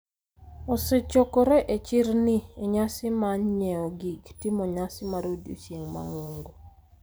osechokore e chirni e nyasi mar nyieo gig timo nyasi mar odiochieng' mang'ongo,